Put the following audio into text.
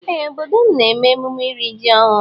Ee obodo m na eme emume iri ji ọhụ.